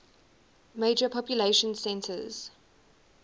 major population centers